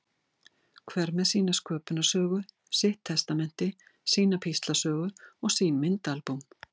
Hver með sína sköpunarsögu, sitt testamenti, sína píslarsögu og sín myndaalbúm.